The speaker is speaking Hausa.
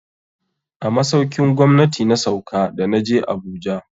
A masaukin gwamnati na sauka da na je Abuja.